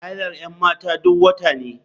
Hailar 'yan mata duk wata ne.